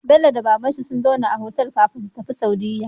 Bello da babanshin sun zauna a otal kafin su tafi saudiya